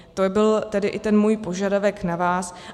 To by byl i ten můj požadavek na vás.